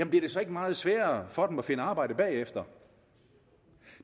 bliver det så ikke meget sværere for dem at finde arbejde bagefter